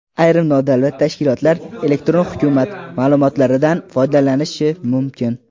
Ayrim nodavlat tashkilotlar "Elektron hukumat" ma’lumotlaridan foydalanishi mumkin.